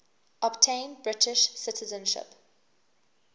obtain british citizenship